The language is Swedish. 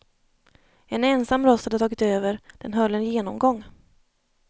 En ensam röst hade tagit över, den höll en genomgång.